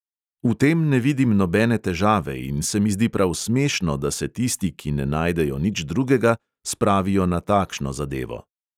V tem ne vidim nobene težave in se mi zdi prav smešno, da se tisti, ki ne najdejo nič drugega, spravijo na takšno zadevo.